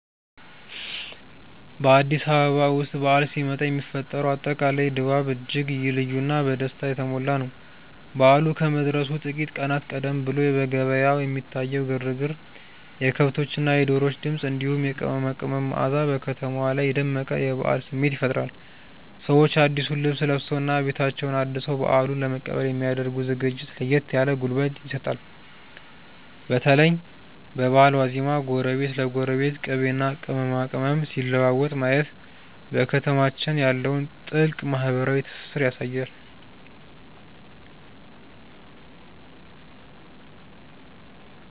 በአዲስ አበባ ውስጥ በዓል ሲመጣ የሚፈጠረው አጠቃላይ ድባብ እጅግ ልዩና በደስታ የተሞላ ነው። በዓሉ ከመድረሱ ጥቂት ቀናት ቀደም ብሎ በየገበያው የሚታየው ግርግር፣ የከብቶችና የዶሮዎች ድምፅ፣ እንዲሁም የቅመማ ቅመም መዓዛ በከተማዋ ላይ የደመቀ የበዓል ስሜት ይፈጥራል። ሰዎች አዲሱን ልብስ ለብሰውና ቤታቸውን አድሰው በዓሉን ለመቀበል የሚ ያደርጉት ዝግጅት ለየት ያለ ጉልበት ይሰጣል። በተለይ በበዓል ዋዜማ ጎረቤት ለጎረቤት ቅቤና ቅመማ ቅመም ሲለዋወጥ ማየት በከተማችን ያለውን ጥልቅ ማህበራዊ ትስስር ያሳያል።